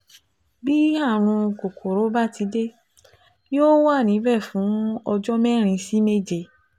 Bí ààrùn kòkòrò bá ti dé, yóò wà níbẹ̀ fún ọjọ́ mẹ́rin sí méje